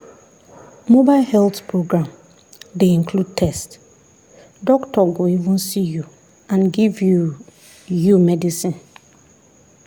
mobile health program dey include test doctor go even see you and give you you medicine.